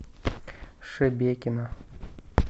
шебекино